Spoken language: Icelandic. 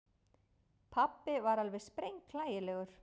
Pabbi var alveg sprenghlægilegur.